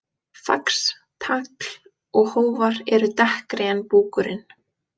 Fax, tagl og hófar eru dekkri en búkurinn.